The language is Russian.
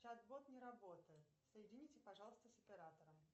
чат бот не работает соедините пожалуйста с оператором